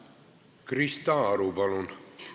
Krista Aru, palun!